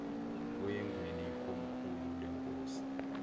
oyengweni ikomkhulu lenkosi